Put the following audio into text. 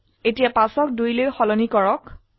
এতিয়া 5 ক 2 লৈ সলনি কৰক